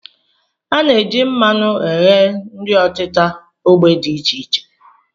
A na-eji mmanụ eghe nri ọtịta ógbè dị iche iche